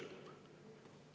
Mina mäletan seda.